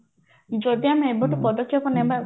ଯଦି ଆମେ ଏବେଠୁ ପଦକ୍ଷେପ ନବା